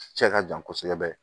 Cɛ ka jan kosɛbɛ